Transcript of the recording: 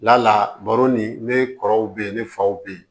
Lala baro ni ne kɔrɔw be yen ne faw be yen